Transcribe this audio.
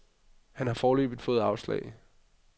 Han har foreløbig fået afslag.